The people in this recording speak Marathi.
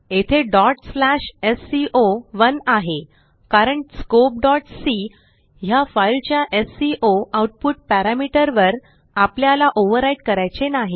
येथेsco1 आहे कारण स्कोप c ह्या फाईलच्या एससीओ आऊटपुट पॅरामीटर वर आपल्याला ओव्हव्राईट करायचे नाही